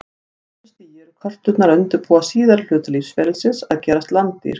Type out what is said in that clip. Á þessu stigi eru körturnar að undirbúa síðari hluta lífsferlisins, að gerast landdýr.